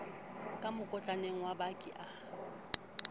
ka mokotlaneng wa baki a